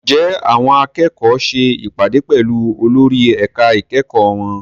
Ǹjẹ́ àwọn akẹ́kọ̀ọ́ ṣe ìpàdé pẹ̀lú olórí ẹ̀ka ìkẹ́kọ̀ọ́ wọn?